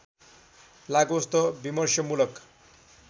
लागोस् त विमर्शमूलक